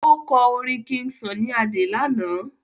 o kò orin king sunny Ade lànà.